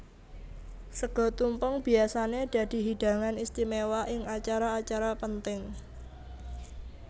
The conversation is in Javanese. Sega tumpeng biyasané dadi hidangan istiméwa ing acara acara penting